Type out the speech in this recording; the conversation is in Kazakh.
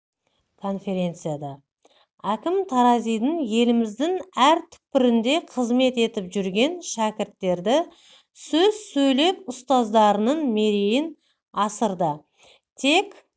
конференцияда әкім таразидың еліміздің әр түкпірінде қызмет етіп жүрген шәкірттері сөз сөйлеп ұстаздарының мерейін асырды тек